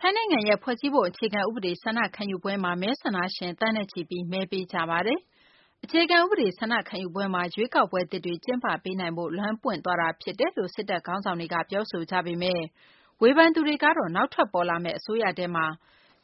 ထိုင်းနိုင်ငံရဲ့ ဖွဲ့စည်းပုံ အခြေခံ ဥပဒေ ဆန္ဒခံယူပွဲမှာ မဲဆန္ဒရှင် သန်းနဲ့ချီပြီး မဲပေးနေကြပါတယ်။ အခြေခံ ဥပဒေ ဆန္ဒခံယူပွဲမှာ ရွေးကောက်ပွဲသစ်တွေ ကျင်းပပေးနိုင်ဖို့ လမ်းပွင့်သွားတာ ဖြစ်တယ်လို့ စစ်တပ်ခေါင်းဆောင်တွေက ပြောဆိုကြပေမယ့် ဝေဖန်သူတွေကတော့ နောက်ထွက်ပေါ်လာမယ့် အစိုးရထဲမှာ